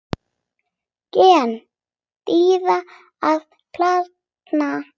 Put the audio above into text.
Gen dýra og plantna